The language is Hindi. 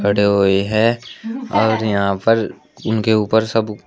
खड़े हुई है और यहां पर उनके ऊपर सब--